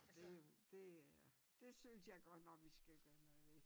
Og det jo det øh det synes jeg godt nok vi skal gøre noget ved